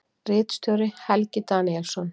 Ritstjóri: Helgi Daníelsson.